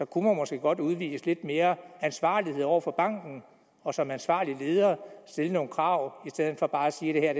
kunne man måske godt udvise lidt mere ansvarlighed over for banken og som ansvarlige ledere stille nogle krav i stedet for bare at sige at